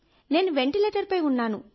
నేను వెంటిలేటర్పై ఉన్నాను